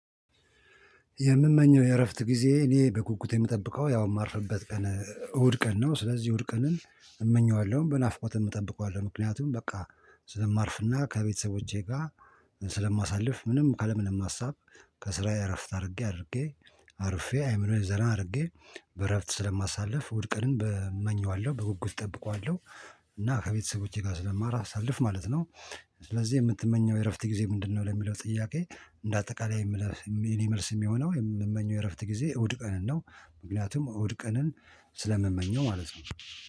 የምመኘው የእረፍት ጊዜ እኔ በጉጉት የምጠብቀው ያው የማርፍበት ቀን እሁድ ቀን ነው ስለዚህ እሁድ ቀንን እመኘዋለሁ በናፍቆትም እጠብቀዋለሁ ምክንያቱም በቃ ስለማርፍና ከቤተሰቦቼ ጋር ስለማሳልፍ ምንም ካለ ምንም ሀሳብ ከስራዬ እረፍት አድርጌ አድርጌ አርፌ አይምሮዬ ዘና አድርጌ በእረፍት ስለማሳልፍ ሙሉቀንን በመኘዋለሁ በጉጉት እጠብቀዋለሁ እና ከቤተሰቦቼ ጋር ስለማሳልፍ ማለት ነው። ስለዚህ የምትመኘው የእረፍት ጊዜ ምንድነው? ለሚለው ጥያቄ እንደ አጠቃላይ የምመልሰው የኔ መልስ የሚሆነው የምመኘው የእረፍት ጊዜ እሁድ ቀን ነው። ምክንያቱም እሁድ ቀንን ስለምመኘው ማለት ነው